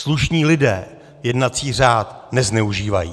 Slušní lidé jednací řád nezneužívají.